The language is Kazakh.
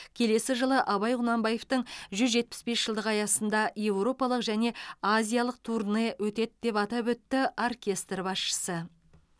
келесі жылы абай құнанбаевтың жүз жетпіс бес жылдығы аясында еуропалық және азиялық турне өтеді деп атап өтті оркестр басшысы